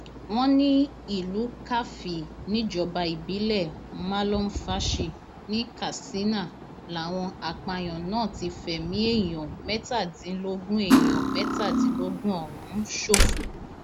wọn ní ìlú karfi níjọba ìbílẹ malumfashi ní katsina làwọn apààyàn náà ti fẹmí èèyàn mẹtàdínlógún èèyàn mẹtàdínlógún ọhún ṣòfò